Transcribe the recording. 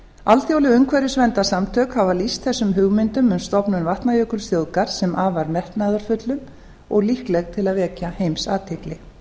alþjóðleg umhverfisverndarsamtök hafa lýst þessum hugmyndum um stofnun vatnajökulsþjóðgarðs sem afar metnaðarfullum og líkleg til að vekja heimsathygli